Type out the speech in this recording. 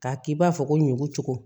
K'a k'i b'a fɔ ko ɲugu cogo cogo